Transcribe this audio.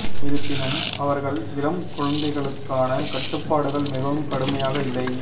இருப்பினும் அவர்கள் இளம் குழந்தைகளுக்கான கட்டுப்பாடுகள் மிகவும் கடுமையாக இல்லை